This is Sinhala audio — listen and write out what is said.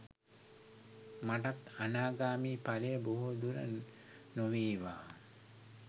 මටත් අනාගාමි ඵලය බොහෝ දුර නොවේවා